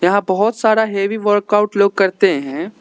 यहां बहुत सारा हैवी वर्कआउट लोग करते हैं।